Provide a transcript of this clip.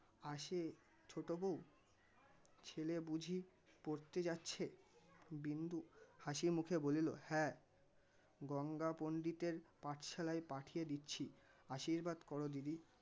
আসে ছোটো বউ ছেলে বুঝি পড়তে যাচ্ছে বিন্দু হাসিয়া মুখে বলিল হ্যাঁ গঙ্গা পণ্ডিতের পাঠশালায় পাঠিয়ে দিচ্ছি আশীর্বাদ কর দিদি.